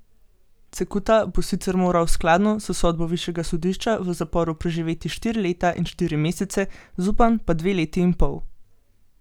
Cekuta bo sicer moral skladno s sodbo višjega sodišča v zaporu preživeti štiri leta in štiri mesece, Zupan pa dve leti in pol.